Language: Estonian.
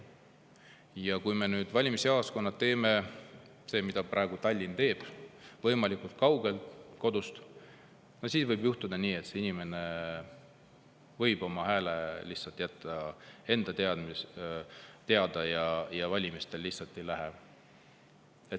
Ja kui valimisjaoskonnad on, nagu Tallinn nüüd teeb, kodust kaugemal, siis võib juhtuda nii, et inimene jätab oma hääle lihtsalt enda teada ja valima ei lähe.